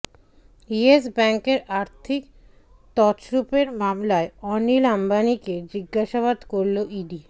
yes ব্যাঙ্কের আর্থিক তছরুপের মামলায় অনিল আম্বানিকে জিজ্ঞাসাবাদ করল ইডি